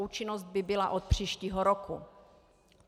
Účinnost by byla od příštího roku.